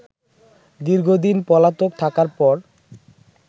দীর্ঘদিন পলাতক থাকার পর